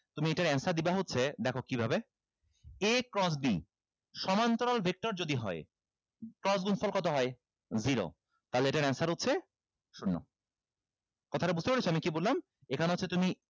তুমি এইটার answer দিবা হচ্ছে দেখো কিভাবে a cross b সমান্তরাল vector যদি হয় cross গুনফল কত হয় zero তাহলে এটার answer হচ্ছে শূন্য কথাটা বুঝতে পেরেছো আমি কি বললাম এখানে হচ্ছে তুমি